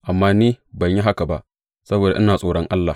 Amma ni ban yi haka ba, saboda ina tsoron Allah.